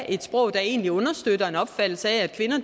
et sprog der egentlig understøtter en opfattelse af at kvinder